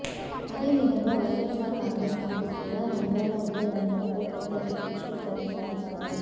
అదే విధంగా వైయస్సార్ కాంగ్రెస్ పార్టీ కూడా నంద్యాల ఉప ఎన్నికలపై ప్రత్యేక దృష్టి సారిస్తోంది